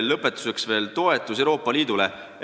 Lõpetuseks rahva toetusest Euroopa Liidule.